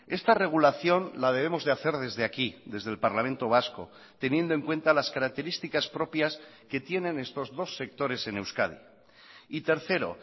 esta regulación la debemos de hacer desde aquí desde el parlamento vasco teniendo en cuenta las características propias que tienen estos dos sectores en euskadi y tercero